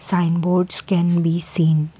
Sign boards can be seen.